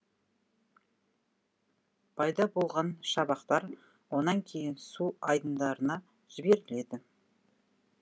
пайда болған шабақтар онан кейін су айдындарына жіберіледі